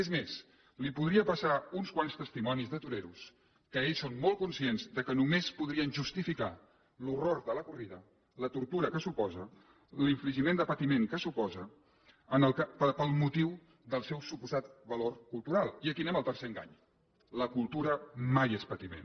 és més li podria passar uns quants testimonis de toreros que ells són molt conscients que només podrien justificar l’horror de la corrida la tortura que suposa l’infligiment de patiment que suposa pel motiu del seu suposat valor cultural i aquí anem al tercer engany la cultura mai és patiment